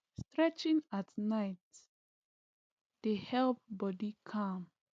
stretching at night dey help body calm